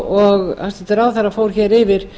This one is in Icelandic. og hæstvirtur ráðherra fór hér yfir